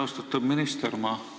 Austatud minister!